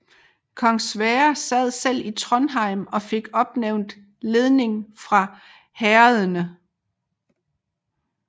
Kong Sverre selv sad i Trondheim og fik opnævnt leding fra herredene